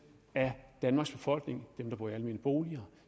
af danmarks befolkning dem der bor i almene boliger